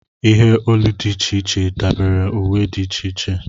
Ihe olu dị iche iche dabara uwe dị iche iche.